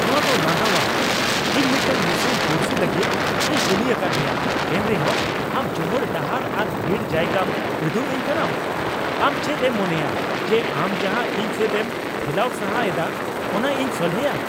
ᱱᱚᱶᱟ ᱫᱚ ᱞᱟᱸᱫᱟᱣᱟᱜ ᱾ ᱤᱧ ᱢᱤᱫᱴᱟᱝ ᱱᱤᱥᱩᱱ ᱯᱩᱲᱥᱤ ᱞᱟᱹᱜᱤᱫ ᱤᱧ ᱠᱩᱞᱤ ᱟᱠᱟᱫ ᱢᱮᱭᱟ, ᱮᱱᱨᱮᱦᱚᱸ ᱟᱢ ᱡᱚᱦᱚᱲ ᱰᱟᱦᱟᱨ ᱟᱨ ᱵᱷᱤᱲ ᱡᱟᱭᱜᱟᱢ ᱩᱫᱩᱜ ᱟᱹᱧ ᱠᱟᱱᱟᱢ ᱾ ᱟᱢ ᱪᱮᱫ ᱮᱢ ᱢᱚᱱᱮᱭᱟ ᱡᱮ ᱟᱢ ᱡᱟᱦᱟᱸ ᱤᱧ ᱥᱮᱫ ᱮᱢ ᱴᱷᱮᱞᱟᱣ ᱥᱟᱦᱟ ᱮᱫᱟ ᱚᱱᱟ ᱤᱧ ᱥᱚᱞᱦᱮᱭᱟ ?